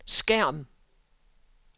skærm